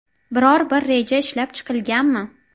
Biror bir reja ishlab chiqilganmi?